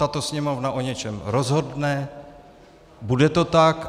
Tato Sněmovna o něčem rozhodne, bude to tak.